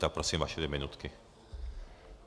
Tak prosím, vaše dvě minutky.